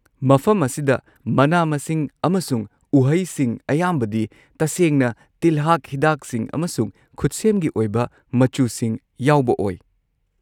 ꯃꯐꯝ ꯑꯁꯤꯗ ꯃꯅꯥ-ꯃꯁꯤꯡ ꯑꯃꯁꯨꯡ ꯎꯍꯩꯁꯤꯡ ꯑꯌꯥꯝꯕꯗꯤ ꯇꯁꯦꯡꯅ ꯇꯤꯜꯍꯥꯠ ꯍꯤꯗꯥꯛꯁꯤꯡ ꯑꯃꯁꯨꯡ ꯈꯨꯠꯁꯦꯝꯒꯤ ꯑꯣꯏꯕ ꯃꯆꯨꯁꯤꯡ ꯌꯥꯎꯕ ꯑꯣꯏ꯫